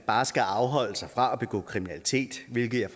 bare skal afholde sig fra at begå kriminalitet hvilket jeg